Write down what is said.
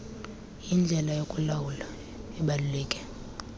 yindlela yokulawula ebaluleke